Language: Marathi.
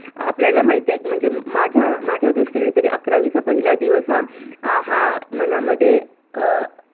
आपल्याला माहितीय म्हणजे माझ्या माझ्या दृष्टीने तरी अकरावीचा पहिला दिवस हा अं हा मनामध्ये अं